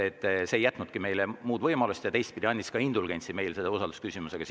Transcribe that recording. Aga see ei jätnud meile muud võimalust ja teistpidi andis indulgentsi siduda need usaldusküsimusega.